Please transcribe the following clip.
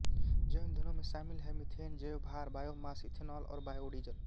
जैव ईंधनों में शामिल हैं मिथेन जैवभार बायोमास इथेनॉल और बायोडीजल